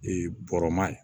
bɔrɔ ma ye